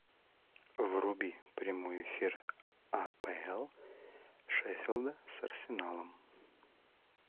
вруби прямой эфир апл шеффилда с арсеналом